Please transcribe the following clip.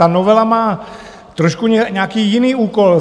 Ta novela má trošku nějaký jiný úkol.